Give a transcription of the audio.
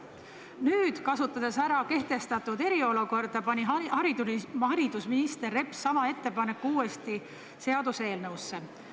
Nüüd, kasutades ära kehtestatud eriolukorda, pani haridusminister Reps sama ettepaneku uuesti seaduseelnõusse.